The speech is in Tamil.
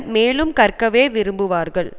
மேலும் கற்கவே விரும்புவார்கள்